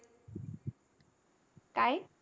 काय?